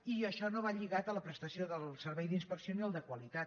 i això no va lligat a la prestació del servei d’inspecció ni al de qualitat